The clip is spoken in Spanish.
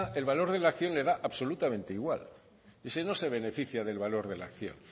el valor de la acción le da absolutamente igual ese no se beneficia del valor de la acción